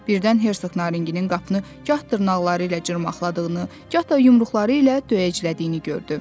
Birdən Hersoq Naringinin qapını gah dırnaqları ilə cırmaqladığını, gah da yumruqları ilə döyəclədiyini gördü.